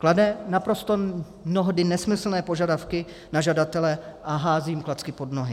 Klade naprosto mnohdy nesmyslné požadavky na žadatele a hází jim klacky pod nohy.